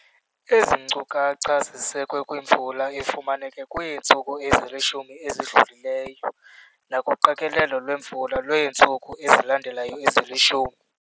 Ezi nkukacha zisekwe kwimvula efumaneke kwiintsuku ezilishumi ezidlulileyo nakuqikelelo lwemvula lweentsuku ezilandelayo ezilishumi.